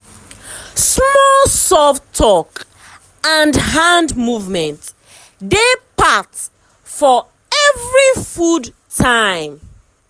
small soft talk and hand movement dey part for every food time.